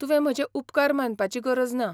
तुवें म्हजे उपकार मानपाची गरज ना.